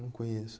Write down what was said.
Não conheço.